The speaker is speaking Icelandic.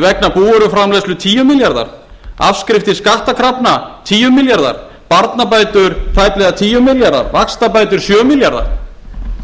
vegna búvöruframleiðslu tíu milljarðar afskriftir skattkrafna tíu milljarðar barnabætur tæplega tíu milljarðar vaxtabætur sjö milljarðar